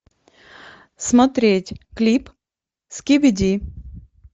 смотреть клип скибиди